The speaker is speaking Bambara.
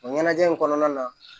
O ɲɛnajɛ in kɔnɔna na